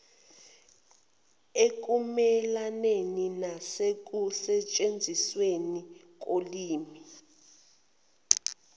ekumelaneni nasekusetshenzisweni kolimi